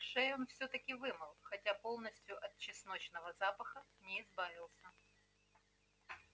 шею он всё-таки вымыл хотя полностью от чесночного запаха не избавился